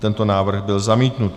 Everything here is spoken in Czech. Tento návrh byl zamítnut.